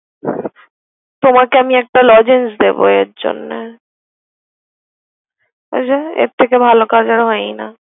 তোমাকে আমি একটা লজেন্স দেব এর জন্য। ওই যে এর থেকে ভালো কাজ আর হয়ই না।